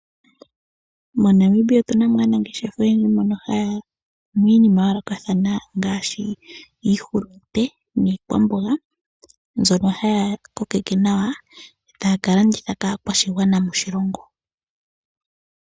MoNamibia otu na mo aanangeshefa oyendji mbono haya kunu iinima ya yoolokathana ngaashi iihulunde niikwamboga mbyono haya kokeke nawa taya ka landitha kaakwashigwana moshilongo.